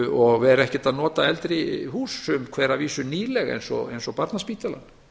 og vera ekkert að nota eldri hús sum hver að vísu nýleg eins og barnaspítalinn